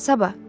Sabah.